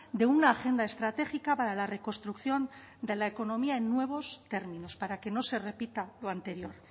de una agenda estratégica para la reconstrucción de la economía en nuevos términos para que no se repita lo anterior